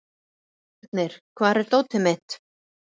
Sírnir, hvar er dótið mitt?